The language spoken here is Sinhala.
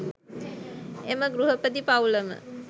එම ගෘහපති පවුලම